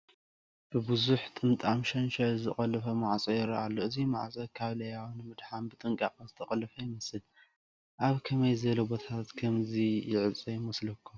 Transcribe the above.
ብብዙሕ ጥምጣም ሸንሸል ዝተቖለፈ ማዕፆ ይረአ ኣሎ፡፡ እዚ ማዕፆ ካብ ለያቡ ንምድሓን ብጥንቓቐ ዝተቖለፈ ይመስል፡፡ ኣብ ከመይ ዝበለ ቦታታት ከምዚ ይዕፆ ይመስለኩም?